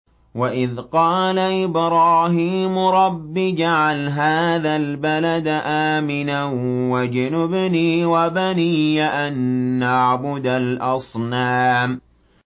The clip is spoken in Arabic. وَإِذْ قَالَ إِبْرَاهِيمُ رَبِّ اجْعَلْ هَٰذَا الْبَلَدَ آمِنًا وَاجْنُبْنِي وَبَنِيَّ أَن نَّعْبُدَ الْأَصْنَامَ